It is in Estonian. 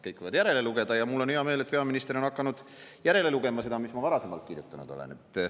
Kõik võivad järele lugeda, ja mul on hea meel, et peaminister on hakanud järele lugema seda, mis ma varasemalt kirjutanud olen.